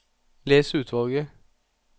Les utvalget